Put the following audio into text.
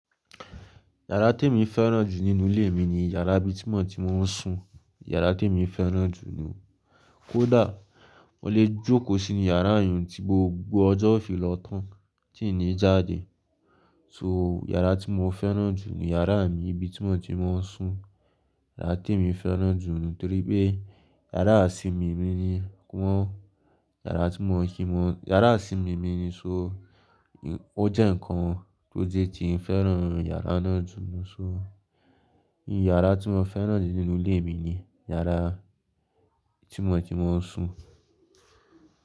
Yàrá te mi fẹ́ràn jù nínú ilé mi ni yàrá ibi tí mo ti mo ń sùn. Yàrá tí èmi fẹ́ràn jù ni. Kódà mo lè jókó sínú yàrá yùn tí gbogbo ọjọ́ ó fi lọ tán tí ńì jáde. So yàrá tí mo fẹ́ràn jù ni yàrá mi ibi tí mo ti mo ń sùn. Yàrá tí èmi fẹ́ràn jù nítorí pé yàrá iṣìmi mi ni wọ́n. Yàrá tí mo ń se mọ-- yàrá iṣìmi mi ni só ó jẹ́ ǹkan tó jé fẹ́ràn yàrá náà jù lóṣù. Yàrá tí mo fẹ́ràn jù nínú ilé mi ni yàrá tí mo ti mo ń sùn.